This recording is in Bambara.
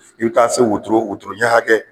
I bi taa se wotoro wotoro ɲɛ hakɛ